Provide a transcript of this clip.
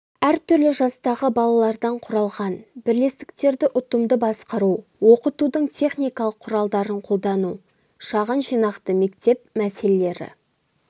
әр түрлі жастағы балалардан құралған бірлестіктерді ұтымды басқару оқытудың техникалық құралдарын қолдану шағын жинақты мектеп мәселелері